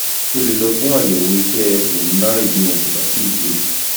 o lè lọ fún àyẹ̀wò iṣẹ́ pulmonary bí wọn kò bá tíì ṣe é